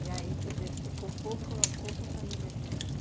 aí, quer dizer, ficou pouco pouca famílias nera